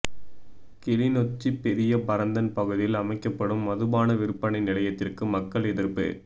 கிளிநொச்சி பெரிய பரந்தன் பகுதியில் அமைக்கப்படும் மதுபாண விற்பனை நிலையத்திற்கு மக்கள் எதிர்ப்பு